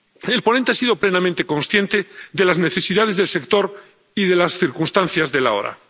El ponente ha sido plenamente consciente de las necesidades del sector y de las circunstancias del ahora.